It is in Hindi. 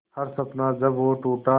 हर सपना जब वो टूटा